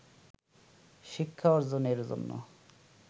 শিক্ষা অর্জনের জন্য